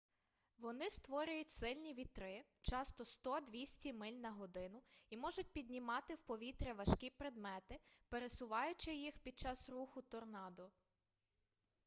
вони створюють сильні вітри часто 100-200 миль на годину і можуть піднімати в повітря важкі предмети пересуваючи їх під час руху торнадо